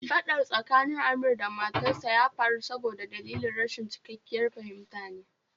Fadar tsakanin Amir da matarsa ya faru sabida dalilin rashin cikakkiyar fahimta ne